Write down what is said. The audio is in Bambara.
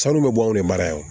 Sanu bɛ bɔ anw de mara yan